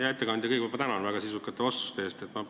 Hea ettekandja, kõigepealt ma tänan väga sisukate vastuste eest!